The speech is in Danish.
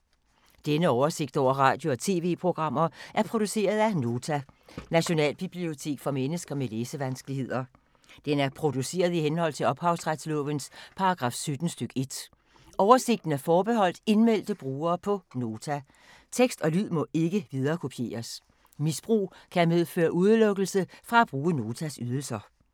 Denne oversigt over radio og TV-programmer er produceret af Nota, Nationalbibliotek for mennesker med læsevanskeligheder. Den er produceret i henhold til ophavsretslovens paragraf 17 stk. 1. Oversigten er forbeholdt indmeldte brugere på Nota. Tekst og lyd må ikke viderekopieres. Misbrug kan medføre udelukkelse fra at bruge Notas ydelser.